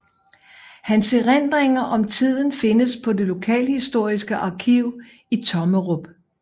Hans erindringer om tiden findes på det lokalhistoriske arkiv i Tommerup